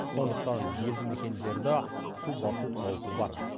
сондықтан елді мекендерді су басу қаупі бар